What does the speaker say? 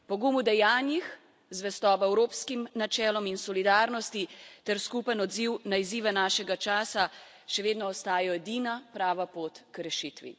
Pogum v dejanjih, zvestoba evropskim načelom in solidarnosti ter skupen odziv na izzive našega časa še vedno ostajajo edina prava pot k rešitvi.